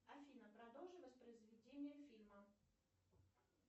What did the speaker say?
афина продолжи воспроизведение фильма